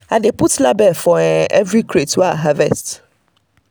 i dey put label for um every um crate wey i harvest.